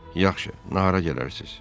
Yaxşı, nahara gələrsiz.